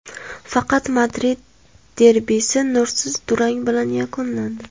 Faqat Madrid derbisi nursiz durang bilan yakunlandi.